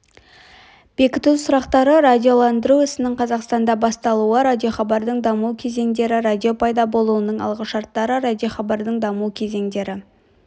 бекіту сұрақтары радиоландыру ісінің қазақстанда басталуы радиохабардың даму кезеңдері радио пайда болуының алғышарттары радиохабардың даму кезеңдері